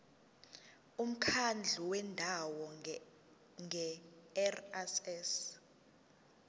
umkhandlu wendawo ngerss